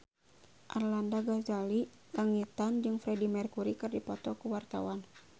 Arlanda Ghazali Langitan jeung Freedie Mercury keur dipoto ku wartawan